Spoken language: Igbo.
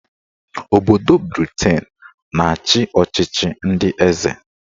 Obodo Briten na-achị ọchịchị ndị eze